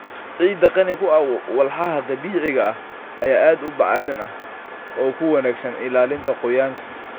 Ciidda qani ku ah walxaha dabiiciga ah ayaa aad u bacrin ah oo ku wanaagsan ilaalinta qoyaanka.